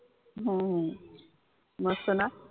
हम्म मस्त ना!